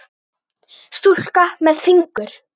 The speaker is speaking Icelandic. Stúlka með fingur.